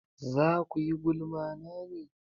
Za kuyi gulma na ne?